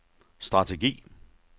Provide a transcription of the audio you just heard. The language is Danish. strategi